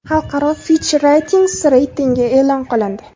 Xalqaro FitchRatings reytingi e’lon qilindi.